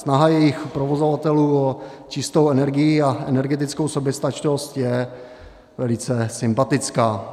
Snaha jejich provozovatelů o čistou energii a energetickou soběstačnost je velice sympatická.